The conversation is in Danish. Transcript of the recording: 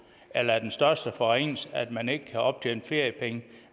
eller er den største forringelse at man ikke kan optjene feriepenge